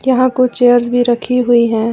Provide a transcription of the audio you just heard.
यहां कुछ चेयर्स भी रखी हुई हैं।